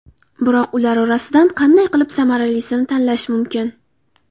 Biroq ular orasidan qanday qilib samaralisini tanlash mumkin?